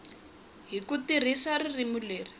hi ku tirhisa ririmi leri